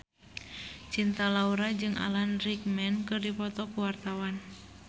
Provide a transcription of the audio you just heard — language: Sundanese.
Cinta Laura jeung Alan Rickman keur dipoto ku wartawan